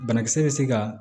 Banakisɛ bɛ se ka